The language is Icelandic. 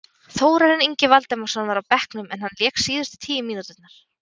Þórarinn Ingi Valdimarsson var á bekknum en hann lék síðustu tíu mínúturnar.